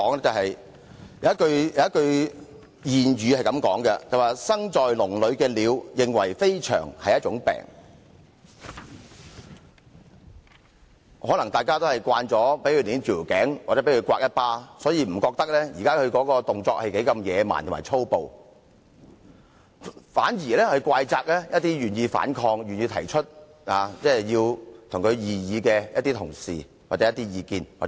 有一句諺語是"生在籠裏的鳥認為飛翔是一種病"，可能大家已經習慣被扼頸或掌摑，所以不認為她現在的動作如何野蠻和粗暴，反而怪責一些願意反抗、願意提出異議的同事或團體。